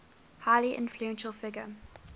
highly influential figure